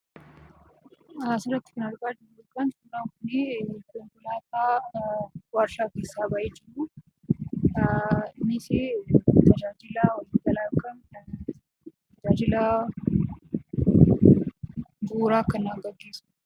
Asirratti kan argaa jirru kun suuraan kunii konkolaataa waarshaa keessaa bahe jiruu, inniisi tajaajila walii galaa yookiin tajaajila bu'uuraa kan gaggeessudha.